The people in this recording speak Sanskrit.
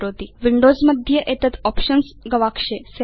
विंडोज मध्ये एतत् आप्शन्स् गवाक्षे स्यात्